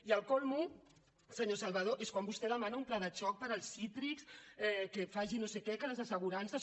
i el súmmum senyor salvadó és quan vostè demana un pla de xoc per als cítrics que faci no sé què que les assegurances